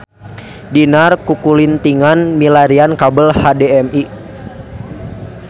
Dinar kukulintingan milarian kabel HDMI